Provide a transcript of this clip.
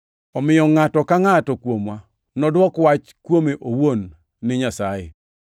Omiyo ngʼato ka ngʼato kuomwa nodwok wach man kuome owuon ni Nyasaye.